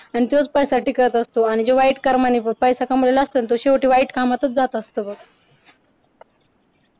आणि तोच पैसा टिकत असतो आणि जे वाईट कर्माने जो पैसा कमावलेला असतो ना तो शेवटी वाईट कामत जात असतो बघ